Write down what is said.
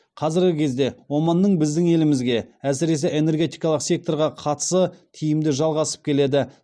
қазіргі кезде оманның біздің елімізге әсіресе энергетикалық секторға қатысы тиімді жалғасып келеді